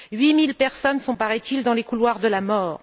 Huit mille personnes sont, paraît il, dans les couloirs de la mort.